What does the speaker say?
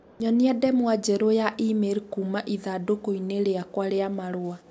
Nyonia ndemwa njerũ ya e-mail kuuma ithandũkũ-inĩ rĩakwa rĩa marũa.